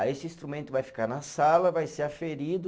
Aí esse instrumento vai ficar na sala, vai ser aferido